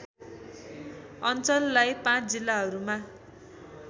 अञ्चललाई ५ जिल्लाहरूमा